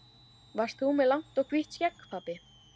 Varst þú með langt og hvítt skegg, pabbi?